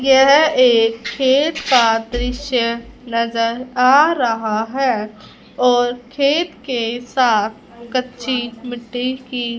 यह एक खेत का दृश्य नज़र आ रहा है और खेत के साथ कच्ची मिट्टी की --